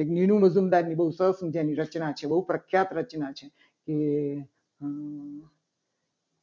એ સરસ મજાની રચના છે. બહુ પ્રખ્યાત રચના છે. કે